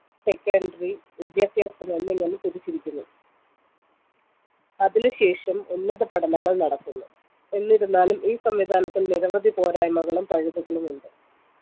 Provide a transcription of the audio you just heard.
secondary വിദ്യാഭ്യാസം എന്നിങ്ങനെ തിരിച്ചിരിക്കുന്നു അതിനു ശേഷം ഉന്നത പഠനങ്ങൾ നടക്കുന്നു എന്നിരുന്നാലും ഈ സംവിധാനത്തിൽ നിരവധി പോരായ്‌മകളും പഴുതുകളുമുണ്ട്